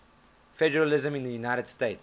federalism in the united states